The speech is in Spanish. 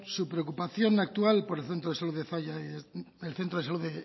su preocupación actual por el centro de salud